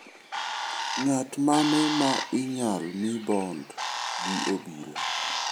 Ng'at mane ma inyal mii bond gi obila.